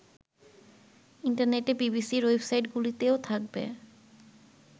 ইন্টারনেটে বিবিসির ওয়েবসাইটগুলিতেও থাকবে